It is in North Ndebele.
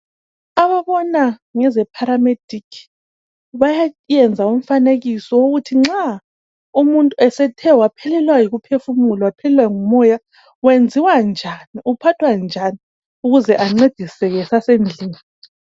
Ababona ngeze pharamedikhi bayenza umfanekiso ukuthi nxa umuntu esethe waphelelwa yikuphefumula waphelwa ngumoya wenziwa njani, uphathwa njani ukuze ancediseke esasendlini.